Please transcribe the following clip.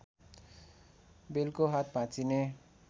बेलको हात भाँचिने